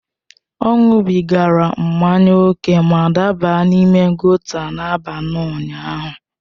Ọ ṅụbigara mmanya ókè ma daba n’ime gòta n’abalị ụnyaahụ.